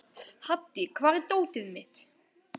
Haddi, hvar er dótið mitt?